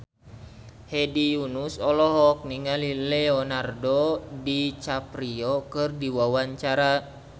Hedi Yunus olohok ningali Leonardo DiCaprio keur diwawancara